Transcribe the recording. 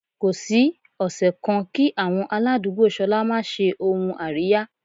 Kò sí ọ̀sẹ̀ kan kí àwọn aládùúgbò ṣolá máa ṣe ohun àríyá.